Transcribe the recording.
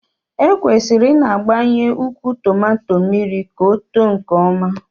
Ekwesịrị ịna-agbanye ukwu tomato mmiri ka ọ too nke ọma